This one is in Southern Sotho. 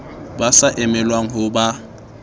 ba sa emelwang ho ba